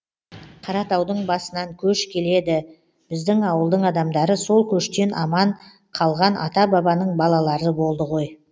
қаратаудың басынан көш келеді біздің ауылдың адамдары сол көштен аман қалған ата бабаның балалары болды ғой